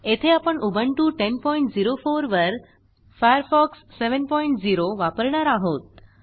येथे आपण उबुंटू 1004वरFirefox 70 वापरणार आहोत